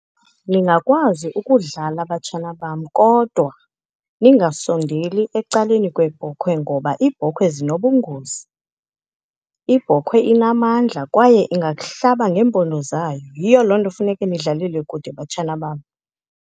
Ningakwazi ukudlala, batshana bam, kodwa ningasondeli ecaleni kweebhokhwe ngoba iibhokhwe zinobungozi. Ibhokhwe inamandla kwaye ingakuhlaba ngeempondo zayo. Yiyo loo nto funeke nidlalele kude, batshana bam.